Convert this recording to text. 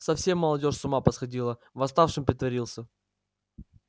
совсем молодёжь с ума посходила восставшим притворился